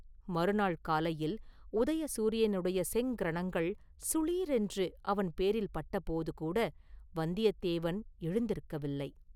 மறுநாள் காலையில் உதய சூரியனுடைய செங்கிரணங்கள் சுளீர் என்று அவன்பேரில் பட்டபோது கூட வந்தியத்தேவன் எழுந்திருக்கவில்லை.